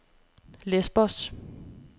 Lesbos